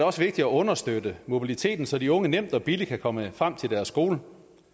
også vigtigt at understøtte mobiliteten så de unge nemt og billigt kan komme frem til deres skole